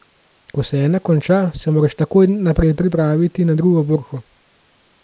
Ko ena konča, se moraš takoj naprej pripraviti na drugo borko.